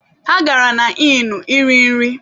Ha gara na Ịnụ iri nri.